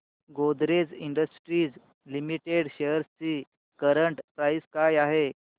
Godrej industries limited shares ची current price काय आहे